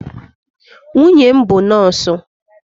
Nwunye m bụ nọọsụ.